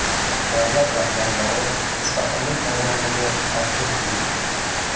Davlat rahbarlari Mustaqillik maydoniga tashrif buyurdi.